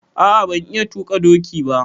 A'a ban iya tuƙa ɗoki ba.